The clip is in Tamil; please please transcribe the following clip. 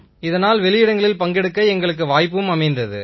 இதனால் வெளியிடங்களில் பங்கெடுக்க எங்களுக்கு வாய்ப்பு அமைந்தது